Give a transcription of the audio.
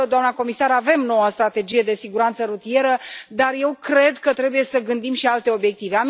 Doamnă comisar, avem noua strategie de siguranță rutieră, dar eu cred că trebuie să gândim și alte obiective.